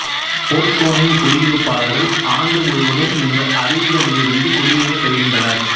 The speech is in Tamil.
போர்கோனின் குடியிருப்பாளர்கள் ஆண்டு முழுவதும் இந்த அருவிகளிலிருந்து குடிநீரைப் பெறுகின்றனர்